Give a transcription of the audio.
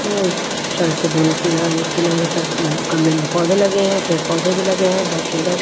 अ अ सड़क के दोनों किनारे अ अ पर गमले में अ पौधे लगे हैं पेड़ पौधे भी लगे हैं बहुत सुंदर।